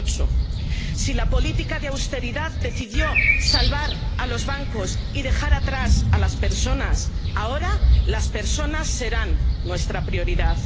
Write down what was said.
2008. Si la política de austeridad decidió salvar a los bancos y dejar atrás a las personas, ahora las personas serán nuestra prioridad.